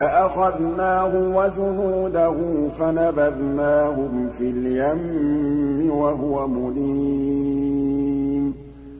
فَأَخَذْنَاهُ وَجُنُودَهُ فَنَبَذْنَاهُمْ فِي الْيَمِّ وَهُوَ مُلِيمٌ